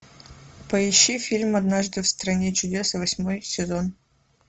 поищи фильм однажды в стране чудес восьмой сезон